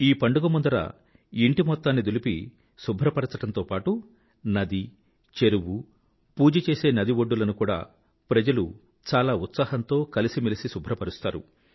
ఈ పండుగ ముందర ఇంటి మొత్తాన్ని దులిపి శుభ్రపరిచడంతో పాటూ నది చెరువు పూజ చేసే నది ఒడ్డులను కూడా ప్రజలు చాలా ఉత్సాహంతో కలిసిమెలసి శుభ్రపరుస్తారు